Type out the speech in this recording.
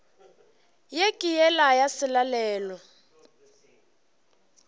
ye ke yela ya selalelo